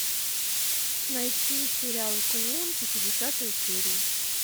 найти сериал клон пятидесятую серию